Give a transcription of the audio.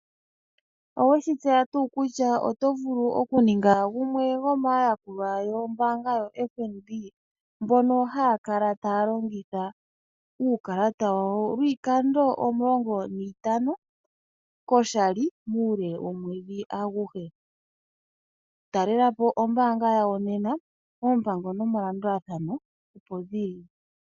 Oweshitseya tuu kutya otovulu oku ninga gumwe gomaayakulwa gombaanga yo FNB ,mbono haya kala taya longitha uukalata wawo lwiikando omulonga nantano koshali muule womwedhi aguhe. Talelapo ombaanga yawo nena ,oompango nomaludhi opo dhili.